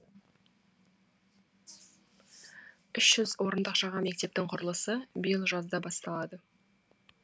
үш жүз орындық жаңа мектептің құрылысы биыл жазда басталады